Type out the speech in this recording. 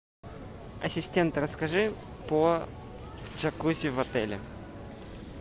ассистент расскажи про джакузи в отеле